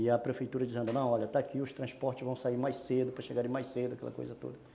E a prefeitura dizendo, não, olha, está aqui, os transportes vão sair mais cedo, para chegarem mais cedo, aquela coisa toda.